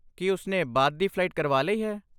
ਕੀ ਉਸ ਨੇ ਬਾਅਦ ਡੀ ਫਲਾਈਟ ਕਰਵਾ ਲਈ ਹੈ?